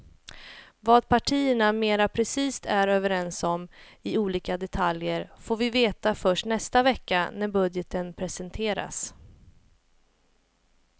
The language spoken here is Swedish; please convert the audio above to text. Vad partierna mera precist är överens om i olika detaljer får vi veta först nästa vecka när budgeten presenteras.